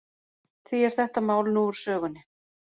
Því er þetta mál nú úr sögunni.